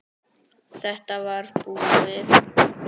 Þetta var búið.